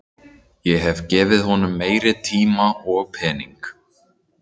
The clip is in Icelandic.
Ég hefði gefið honum meiri tíma og pening.